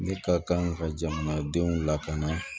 Ne ka kan ka jamanadenw lakana